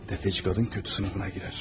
Defeci kadın kötü sınıfına girər.